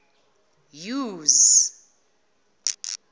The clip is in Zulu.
use